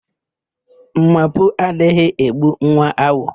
Ḿmápụ̀ adịghị egbu nwa awọ